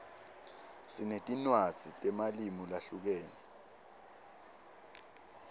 sinetinwadzi temalimu lahlukene